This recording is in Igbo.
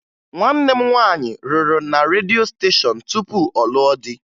Nwanne m nwaanyị rụrụ na redio steshọn tupu ọ lụọ di